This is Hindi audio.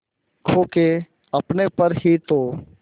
खो के अपने पर ही तो